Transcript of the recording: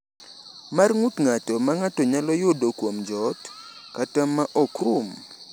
mar ng’ut ng’ato, ma ng’ato nyalo yudo kuom joot, kata ma ok rum?"